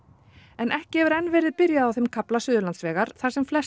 en ekki hefur enn verið byrjað á þeim kafla Suðurlandsvegar þar sem flest